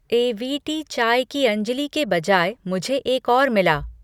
ए V T चाय की अंजली के बजाय मुझे एक और मिला।